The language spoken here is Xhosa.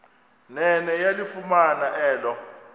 nene yalifumana elo